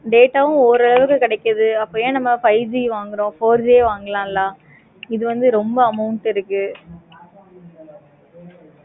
data வு ஊர் அளவு கிடைக்குது. அப்ப ஏன் நம்ம five G வாங்குறோம். four G வாங்களாம்ல? இது வந்து ரொம்ப amount இருக்கு.